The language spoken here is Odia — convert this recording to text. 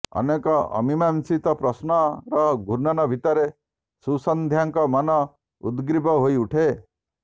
ଅନେକ ଅମିମାଂସିତ ପ୍ରଶ୍ନର ଘୂର୍ଣ୍ଣନ ଭିତରେ ସୁସନ୍ଧ୍ୟାଙ୍କ ମନ ଉଦ୍ଗ୍ରୀବ ହୋଇ ଉଠେ